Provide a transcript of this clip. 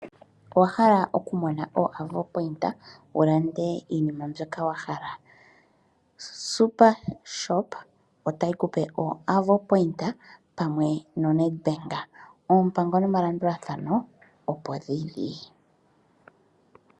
Owa hala oku mona iitsa yoAvo wu lande iinima mbyoka wa hala super shop otayi ku pe iitsa pamwe noNedbank ,oompango nomalandulathano opo geli.